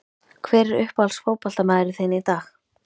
Hver er uppáhalds fótboltamaðurinn þinn í dag?